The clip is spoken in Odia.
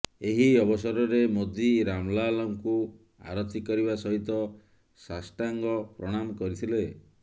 ଏହି ଅବସରରେ ମୋଦୀ ରାମଲାଲାଙ୍କୁ ଆରତି କରିବା ସହିତ ଷାଷ୍ଟାଙ୍ଗ ପ୍ରଣାମ କରିଥିଲେ